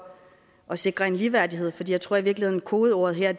at sikre en ligeværdighed jeg tror i virkeligheden at kodeordet her